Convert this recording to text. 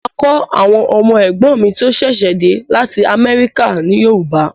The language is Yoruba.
Máa kọ́ àwọn ọmọ ẹ̀gbọ́n mi tí ó ṣẹ̀ṣẹ̀ de lati america ní Yoruba